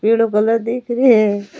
पीलो colour दीख रे है।